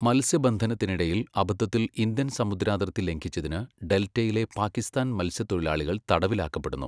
മത്സ്യബന്ധനത്തിനിടയിൽ അബദ്ധത്തിൽ ഇന്ത്യൻ സമുദ്രാതിർത്തി ലംഘിച്ചതിന് ഡെൽറ്റയിലെ പാക്കിസ്ഥാൻ മത്സ്യത്തൊഴിലാളികൾ തടവിലാക്കപ്പെടുന്നു.